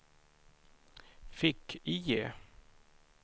fick-IE